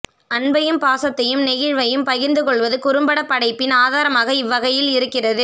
அன்பையும் பாசத்தையும் நெகிழ்வை யும் பகிர்ந்து கொள்வது குறும்படப் படைப்பின் ஆதாரமாக இவ்வகையில் இருக்கிறது